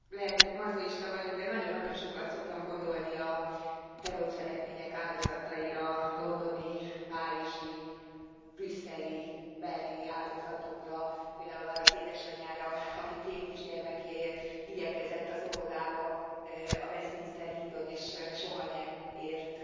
Lehet, hogy mazochista vagyok, de nagyon nagyon sokat szoktam gondolni a terrorcselekmények áldozataira londoni, párizsi, brüsszeli, berlini áldozatokra, például arra az édesanyára, aki két kisgyermekéért igyekezett az óvodába a Westminster hídon, és soha nem ért